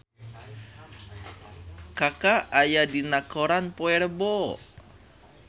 Kaka aya dina koran poe Rebo